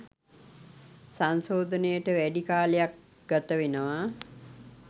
සංශෝධනයට වැඩි කාලයක් ගතවෙනවා